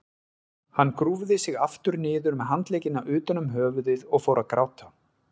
Hún grúfði sig aftur niður með handleggina utan um höfuðið og fór að gráta.